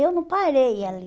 Eu não parei ali.